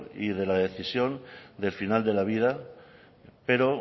y de la decisión del final de la vida pero